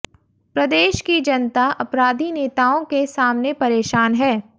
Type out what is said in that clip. प्रदेश की जनता अपराधी नेताओं के सामने परेशान है